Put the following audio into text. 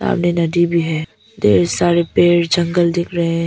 सामने नदी भी है ढ़ेर सारे पेड़ जंगल दिख रहे हैं।